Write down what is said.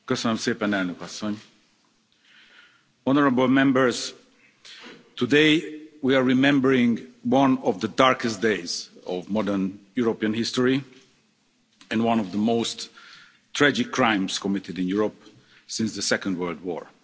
Madam President, today we are remembering one of the darkest days of modern European history, and one of the most tragic crimes committed in Europe since the Second World War.